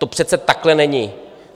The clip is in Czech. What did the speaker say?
To přece takhle není!